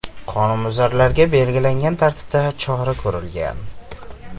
Qonunbuzarlarga belgilangan tartibda chora ko‘rilgan.